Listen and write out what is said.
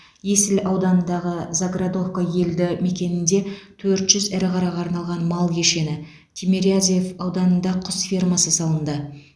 есіл ауданындағы заградовка елді мекенінде төрт жүз ірі қараға арналған мал кешені тимирязев ауданында құс фермасы салынды